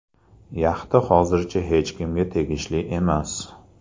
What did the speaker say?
Yaxta hozircha hech kimga tegishli emas.